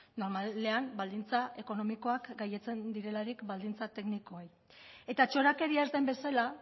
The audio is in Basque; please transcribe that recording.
normalean baldintza ekonomikoak gailentzen direlarik baldintza teknikoei eta txorakeria ez den bezala